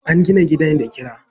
An gina gida da kara.